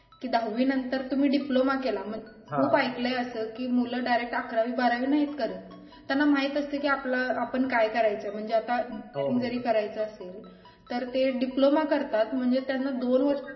कि दहावी नंतर तुम्ही diploma केला कि खूप ऐकलय असा कि मुलं direct अकरावी बारावी नाहीत करत त्यांना असत कि आपलं आपण काय करायचं म्हणजे आता इथून जरी करायचे असेल तर ते diploma करतात म्हणजे त्यांना दोन वर्ष